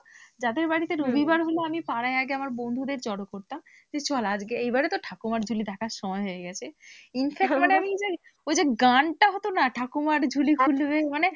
যাদের বাড়িতে রবিবার হলে আমি পাড়ায় আগে আমাদের আমি বন্ধুদের জড়ো করতাম, যে চল আজকে এবার তো ঠাকুরমার ঝুলি দেখার সময় হয়ে গেছে infact আমি ওই যে গানটা হতো না ঠাকুমার ঝুলি খুলবে।